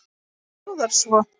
Það hljóðar svo